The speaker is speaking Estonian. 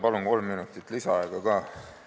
Palun kolm minutit lisaaega ka!